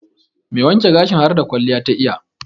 Mai wanke gashin harda kwalliya ta iya.